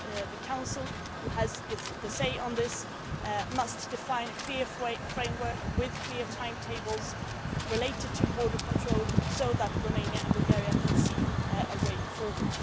The Council, which has the say on this, must define a clear framework with clear timetables related to border control so that Romania and Bulgaria can see a way forward.